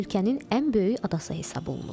Ölkənin ən böyük adası hesab olunur.